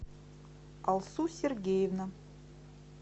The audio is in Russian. алсу сергеевна